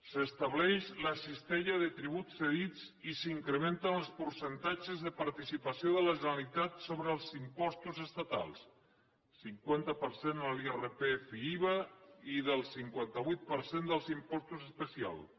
s’estableix la cistella de tributs cedits i s’incrementen els per centatges de participació de la generalitat sobre els impostos estatals cinquanta per cent l’irpf i iva i del cinquanta vuit per cent dels impostos especials